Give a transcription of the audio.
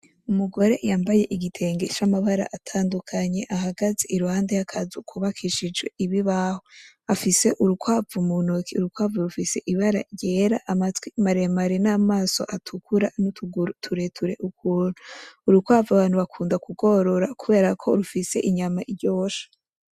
Umugore yambaye igitenge c'amabara atandukanye, ahagaze iruhande y'akazu kubakishijwe ibibaho, afise urukwavu mu ntoke, urukwavu rufise ibara ryera; amatwi maremare ,n'amaso atukura, n'utuguru tureture ukuntu, urukwavu abantu bakunda kugorora kubera ko rufise inyama iryoshe.